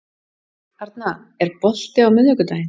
Arna, er bolti á miðvikudaginn?